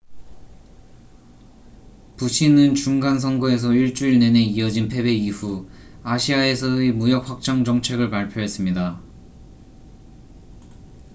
부시는 중간 선거에서 일주일 내내 이어진 패배 이후 아시아에서의 무역 확장 정책을 발표했습니다